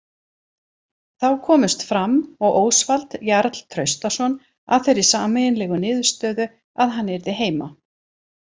Þá komust Fram og Ósvald Jarl Traustason að þeirri sameiginlegu niðurstöðu að hann yrði heima.